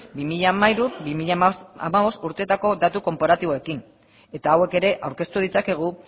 bi mila hamairu bi mila hamabost urteetako datu konparatiboekin eta hauek ere aurkeztu ditzakegu